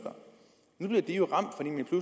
man har de